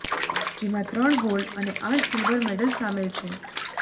જેમાં ત્રણ ગોલ્ડ અને આઠ સિલ્વર મેડલ સામેલ છે